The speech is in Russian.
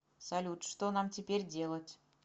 салют что нам теперь делать